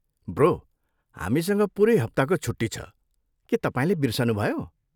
Bro, हामीसँग पुरै हप्ताको छुट्टी छ, के तपाईँले बिर्सनुभयो?